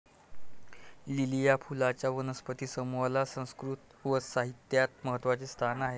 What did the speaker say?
Lily या फुलांच्या वनस्पती समूहाला संस्कृत व साहित्यात महत्वाचे स्थान आहे.